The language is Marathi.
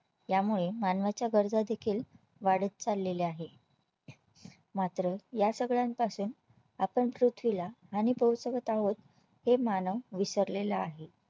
यामुळे मानवाच्या गरजा देखील वाढत चाललेला आहे मात्र या सगळ्यांपासून आपण पृथवीला हानी पोहोचवत आहोत हे मानव विसरलेला आहे